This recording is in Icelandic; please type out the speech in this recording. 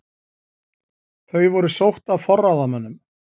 Þau voru sótt af forráðamönnum